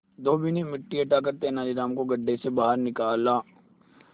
धोबी ने मिट्टी हटाकर तेनालीराम को गड्ढे से बाहर निकाला